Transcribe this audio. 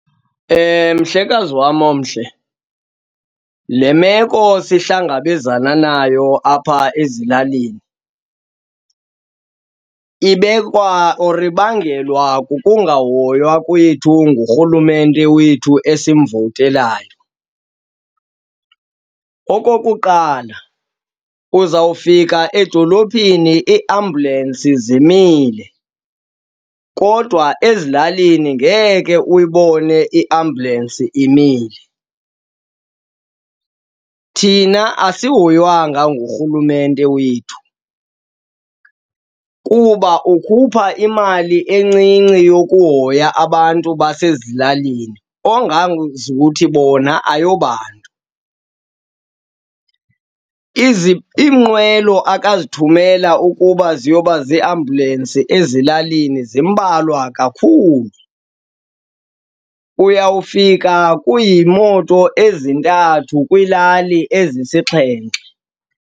Mhlekazi wam omhle, le meko sihlangabezana nayo apha ezilalini ibekwa or ibangelwa kukungahoywa kwethu ngurhulumente wethu esimvowutelayo. Okokuqala, uzawufika edolophini iiambulensi zimile kodwa ezilalini ngeke uyibone iambulensi imile. thina asihoywanga ngurhulumente wethu kuba ukhupha imali encinci yokuhoya abantu basezilalini ongaze uthi bona ayobantu. Iinqwelo ake wazithumela ukuba ziyoba ziiambulensi ezilalini zimbalwa kakhulu, uyawufika kuyimoto ezintathu kwiilali ezisixhenxe.